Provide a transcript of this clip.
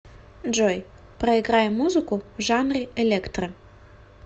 джой проиграй музыку в жанре электро